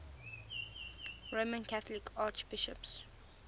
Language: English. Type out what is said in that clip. roman catholic archbishops